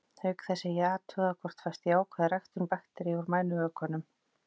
Auk þess er athugað hvort fæst jákvæð ræktun bakteríu úr mænuvökvanum.